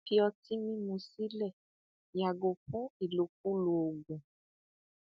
fi ọtí mímu sílẹ yàgò fún ìlòkulò oògùn